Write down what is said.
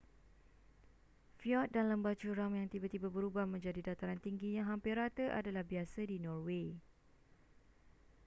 fjord dan lembah curam yang tiba-tiba berubah menjadi dataran tinggi yang hampir rata adalah biasa di norway